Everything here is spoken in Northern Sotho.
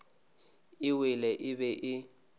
e wele e be e